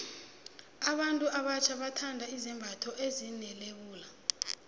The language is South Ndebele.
abantu abatjha bathanda izembatho ezine lebula